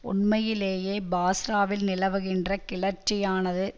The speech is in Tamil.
உண்மையிலேயே பாஸ்ராவில் நிலவுகின்ற கிளர்ச்சியானது